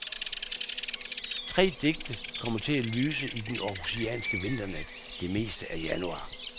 Tre digte, kommer til at lyse i den århusianske vinternat det meste af januar.